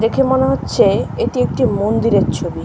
দেখে মনে হচ্ছে এটি একটি মন্দিরের ছবি ।